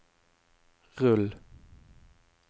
rull